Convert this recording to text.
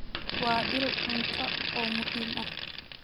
Waa il cunto oo muhiim ah.